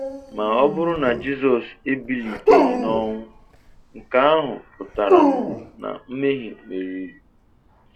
Ma ọ bụrụ na Jizọs ebiliteghi n'ọnwụ, nke ahụ pụtaranu na mmehie merịrị.